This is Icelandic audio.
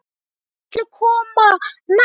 Hvað ætli komi næst?